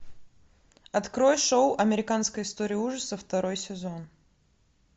открой шоу американская история ужасов второй сезон